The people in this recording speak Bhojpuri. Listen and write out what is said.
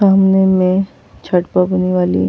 सामने मे छठ पर होने वाली --